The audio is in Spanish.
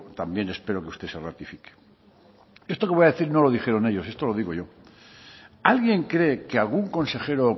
también espero que usted se ratifique esto que le voy a decir no lo dijeron ellos esto lo digo yo alguien cree que algún consejero o